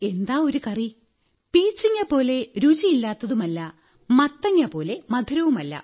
എന്താ ഒരു കറി പീച്ചങ്ങപോലെ രുചിയില്ലാത്തതുമല്ല മത്തങ്ങപോലെ മധുരവുമല്ല